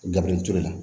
Gabiriyɛri la